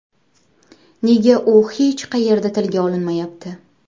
Nega u hech qayerda tilga olinmayapti?